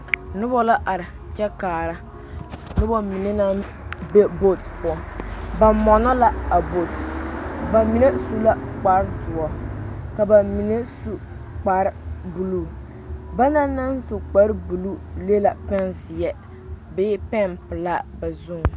Nob la are kyɛ kaara noba mine na be bɔɔte poɔ ba mɔnnɔ la a bɔɔte ba mine su la kpar doɔ ka ba mine su kpar buluu ba naŋ na kpar buluu le la pɛn zeɛ bee pɛn pelaa ba zu